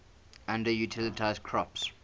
underutilized crops